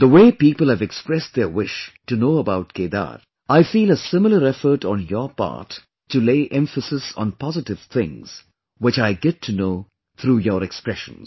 The way people have expressed their wish to know about Kedar, I feel a similar effort on your part to lay emphasis on positive things, which I get to know through your expressions